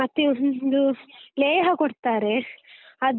ಮತ್ತೆ ಹ್ಮೂ ಒಂದು ಲೇಹ ಕೊಡ್ತಾರೆ ಅದು.